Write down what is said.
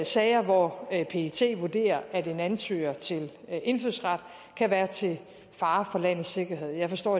sager hvor pet vurderer at en ansøger til indfødsret kan være til fare for landets sikkerhed jeg forstår